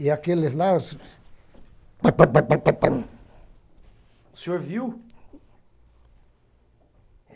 E aqueles lá... Pá pá pá pá pá pá. O senhor viu?